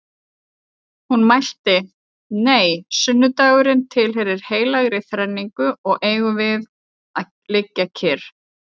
Hún mælti: Nei, sunnudagurinn tilheyrir heilagri þrenningu og eigum við að liggja kyrr